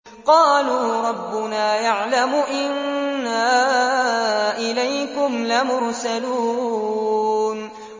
قَالُوا رَبُّنَا يَعْلَمُ إِنَّا إِلَيْكُمْ لَمُرْسَلُونَ